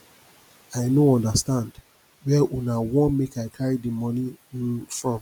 i no understand where una wan make i carry the money um from